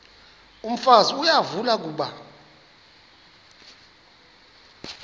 umfazi uyavuya kuba